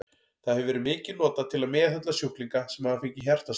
Það hefur verið mikið notað til að meðhöndla sjúklinga sem hafa fengið hjartaslag.